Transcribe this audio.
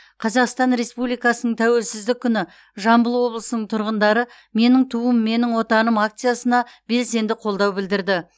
қазақстан республикасының тәуелсіздік күні жамбыл облысының тұрғындары менің туым менің отаным акциясына белсенді қолдау білдірді